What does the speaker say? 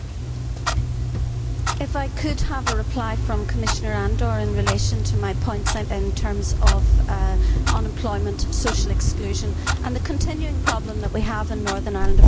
Could I have a reply from Commissioner Andor in relation to the points I made in terms of unemployment, social exclusion and the continuing problem that we have in Northern Ireland of low level paramilitary violence?